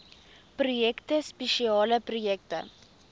projekte spesiale projekte